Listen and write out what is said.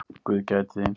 Guð gæti þín.